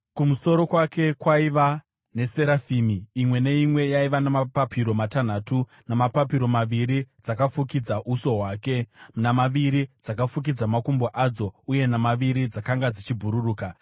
Kumusoro kwake kwaiva neserafimi, imwe neimwe yaiva namapapiro matanhatu: namapapiro maviri, dzakafukidza uso hwadzo, namaviri dzakafukidza makumbo adzo, uye namaviri dzakanga dzichibhururuka.